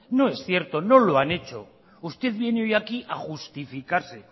no es cierto no lo han hecho usted viene hoy aquí a justificarse